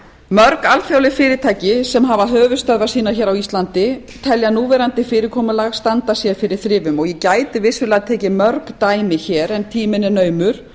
mörg alþjóðleg fyrirtæki sem hafa höfuðstöðvar sínar hér á íslandi telja núverandi fyrirkomulag standa sér fyrir þrifum og ég gæti vissulega tekið mörg dæmi hér en tíminn er naumur